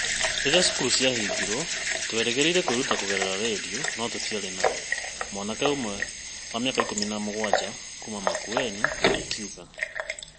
Rĩrĩa cukuru ciarigirwo, twĩrĩgĩrĩire kwĩruta kũgerera redio, no tũtirĩ nayo,' mwanake ũmwe wa mĩaka ik ũmi na m ũgwaja kuuma Makueni oigire.